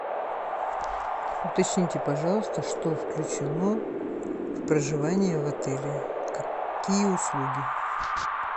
уточните пожалуйста что включено в проживание в отеле какие услуги